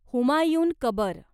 हुमायून कबर